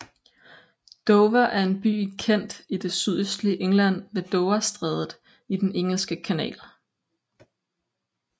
Dover er en by i Kent i det sydøstlige England ved Doverstrædet i den Engelske Kanal